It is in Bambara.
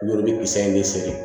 Olu kisɛ in de bɛ